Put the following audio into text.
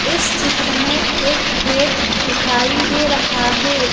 इस चित्र में एक खेत दिखाई दे रहा है।